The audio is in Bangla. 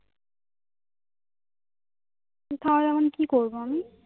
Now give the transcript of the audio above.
তাহলে এখন কি করবো আমি